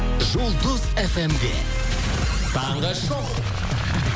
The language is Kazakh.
жұлдыз фм де таңғы шоу